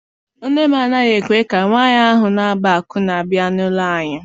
Nne m anaghị ekwe ka nwaanyị ahụ na-agba akwụna bịa n'ụlọ anyi.